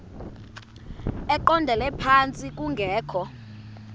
eqondele phantsi kungekho